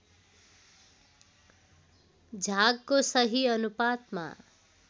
झागको सही अनुपातमा